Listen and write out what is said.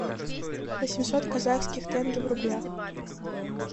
восемьсот казахских тенге в рублях